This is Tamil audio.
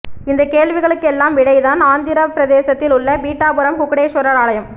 இந்தக் கேள்விகளுக்கெல்லாம் விடைதான் ஆந்திரப்பிரதேசத்தில் உள்ள பீட்டாபுரம் குக்குடேஸ்வரர் ஆலயம்